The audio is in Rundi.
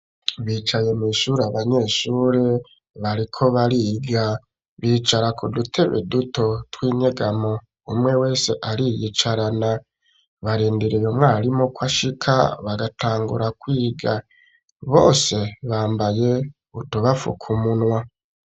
Bicaye mw'ishuri abanyeshuri bariko bariga bicara ku dutebe duto twinyegamo umwe wese ari yicarana barenderewe mwarimu ko ashika bagatangura kwiga bose bambaye utubafu ku munwa.